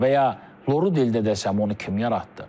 Və ya loru dildə desəm onu kim yaratdı?